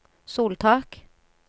soltak